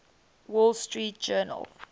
wall street journal